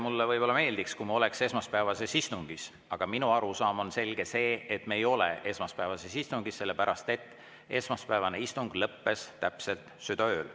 Mulle võib-olla meeldiks, kui me oleks esmaspäevases istungis, aga minu arusaam on see, et me ei ole esmaspäevases istungis, sellepärast et esmaspäevane istung lõppes täpselt südaööl.